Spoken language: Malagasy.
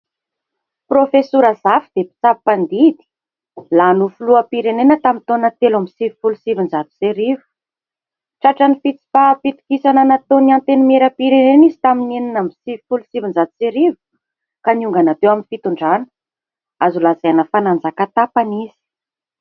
Prôfesora Zafy dia mpitsabo mpandidy, lany filoham-pirenena tamin'ny taona telo ambin'ny sivy folo sy sivinjato sy arivo. Tratra ny fitsipaham-pitokisana nataon'ny antenimieram-pirenena izy tamin'ny enina ambin'ny sivy folo sy sivinjato sy arivo ka niongana teo amin'ny fitondrana? azo lazaina fa nanjaka tapany izy.